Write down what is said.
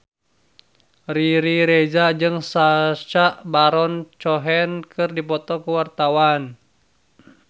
Riri Reza jeung Sacha Baron Cohen keur dipoto ku wartawan